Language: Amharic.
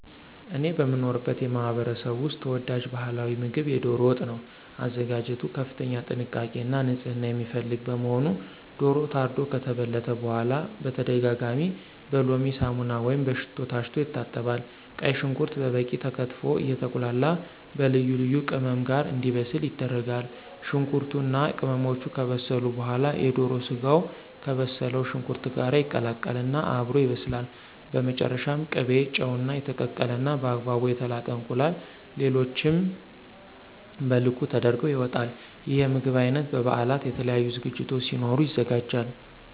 እኔ በምኖርበት ማህበረሰብ ውስጥ ተወዳጅ ባህላዊ ምግብ የዶሮ ወጥ ነው። አዘገጃጀቱ ከፍተኛ ጥንቃቄ እና ንፅህና የሚፈልግ በመሆኑ ዶሮው ታርዶ ከተበለተ በኋላ በተደጋጋሚ በሎሚ፣ ሳሙና ወይም በሽሮ ታሽቶ ይታጠባል። ቀይ ሽንኩርት በበቂ ተከትፎ አየተቁላላ በልዩ ልዩ ቅመም ጋር እንዲበስል ይደረጋል። ሽንኩርቱ እና ቅመሞቹ ከበሰሉ በኋላ የዶሮ ስጋው ከበሰለው ሽንኩርት ጋር ይቀላቀል እና አብሮ ይበስላል። በመጨረሻም ቅቤ፣ ጨው፣ እና የተቀቀለ እና በአግባቡ የተላጠ እንቁላል ሌሎቹም በልኩ ተደርገው ይወጣል። ይህ የምግብ አይነት በ በበአላት፣ የተለያዩ ዝግጅቶች ሲኖሩ ይዘጋጃል።